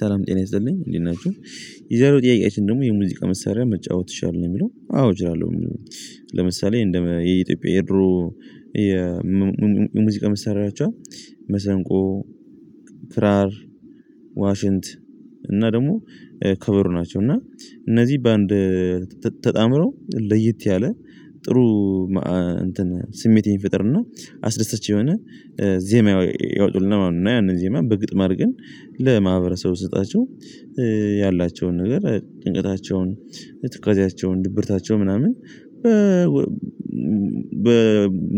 ሰላም ጤና ይስጠልኝ እንዴት ናችሁ። የዛሬው ጥያቄያችን ደግሞ የሙዚቃ መሳሪያ መጫወት ይቻላል ነው የሚለው አዎ እችላለሁ። ለምሳሌ እንደ የኢትዮጵያ ኤድሮ የሙዚቃ ምሳሌያቸው መሰንቆ ክራር ዋሽንት እና ደግሞ ከበሮ ናቸው። እና እነዚህ በአንድ ተጣምሮ ለየት ያለ ጥሩ እንትን ስሜት የሚፈጥር ና አስደሳች የሆነ ዜማ ያወጡልና ያንን ዜማ በግጥም አድርገን ለማህበረሰብ ብሰጣቸው ያላቸውን ነገር ጭንቀታቸውን ትካዜያቸውን ድብርታቸው ምናምን በ በ